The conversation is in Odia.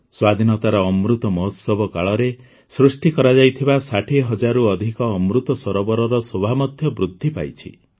ସ୍ୱାଧୀନତାର ଅମୃତ ମହୋତ୍ସବ କାଳରେ ସୃଷ୍ଟି କରାଯାଇଥିବା ୬୦ ହଜାରରୁ ଅଧିକ ଅମୃତ ସରୋବରର ଶୋଭା ମଧ୍ୟ ବୃଦ୍ଧି ପାଇଛି